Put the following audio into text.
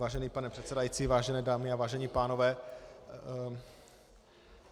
Vážený pane předsedající, vážené dámy a vážení pánové.